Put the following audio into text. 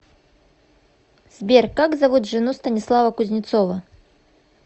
сбер как зовут жену станислава кузнецова